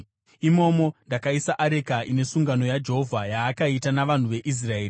Imomo ndakaisa areka ine sungano yaJehovha yaakaita navanhu veIsraeri.”